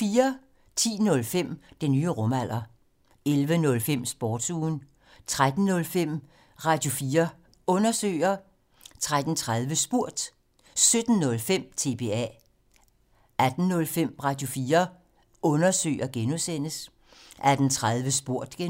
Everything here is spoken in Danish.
10:05: Den nye rumalder 11:05: Sportsugen 13:05: Radio4 Undersøger 13:30: Spurgt 17:05: TBA 18:05: Radio4 Undersøger (G) 18:30: Spurgt (G) 02:00: